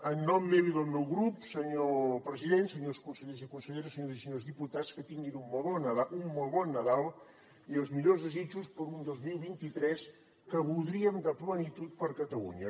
en nom meu i del meu grup senyor president senyors consellers i conselleres senyores i senyors diputats que tinguin un molt bon nadal i els millors desitjos per a un dos mil vint tres que voldríem de plenitud per a catalunya